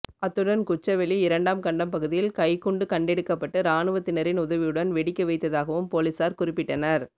அத்துடன் குச்சவெளி இரண்டாம் கண்டம் பகுதியில் கைக்குண்டு கண்டெடுக்கப்பட்டு இராணுவத்தினரின் உதவியுடன் வெடிக்க வைத்ததாகவும் பொலிஸார் குறிப்பிட்டனர்